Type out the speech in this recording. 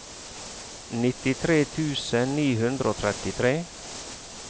nittitre tusen ni hundre og trettitre